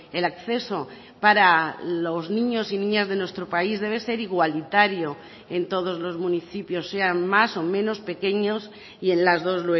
el acceso para los niños y niñas de nuestro país debe ser igualitario en todos los municipios sean más o menos pequeños y en las dos